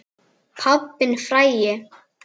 Pabbinn frægi.